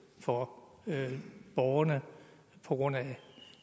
for borgerne på grund af